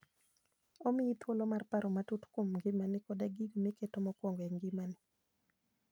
Omiyi thuolo mar paro matut kuom ngimani koda gigo miketo mokwongo e ngimani.